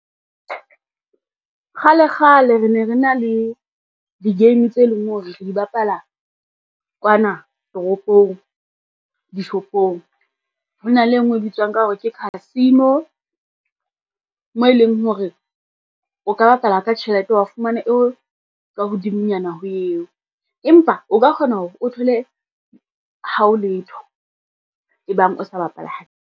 Kgale kgale re ne re na le di-game tse leng hore re di bapala kwana toropong dishopong. Ho na le e ngwe e bitswang ka hore ke casino, moo e leng hore o ka bapala ka tjhelete wa fumana eo ka hodimonyana ho eo, empa o ka kgona hore o thole ha o letho, e bang o sa bapale hantle.